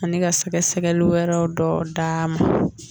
Ani ka sɛgɛsɛgli wɛrɛw dɔ d'a ma